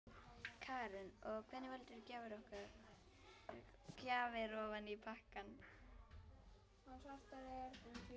Karen: Og hvernig valdirðu gjafir ofan í pakkann?